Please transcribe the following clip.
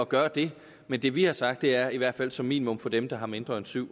gøre det men det vi har sagt er i hvert fald som minimum for dem der har mindre end syv